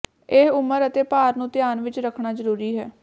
ਇਹ ਉਮਰ ਅਤੇ ਭਾਰ ਨੂੰ ਧਿਆਨ ਵਿਚ ਰੱਖਣਾ ਜ਼ਰੂਰੀ ਹੈ